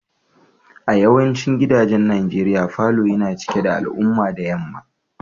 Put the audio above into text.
A yawancin gidajen nigeria, falon yana cikin da alamura da yamma.